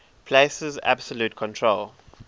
places absolute control